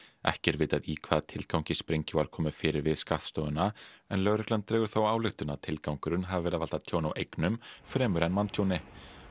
ekki er vitað í hvaða tilgangi sprengju var komið fyrir við skattstofuna en lögreglan dregur þá ályktun að tilgangurinn hafi verið að valda tjóni á eignum fremur en manntjóni